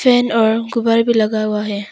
Tent और गुब्बारा भी लगा हुआ है।